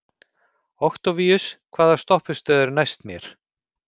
Októvíus, hvaða stoppistöð er næst mér?